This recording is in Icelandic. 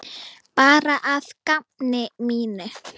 Bara að gamni mínu.